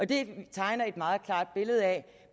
det tegner et meget klart billede af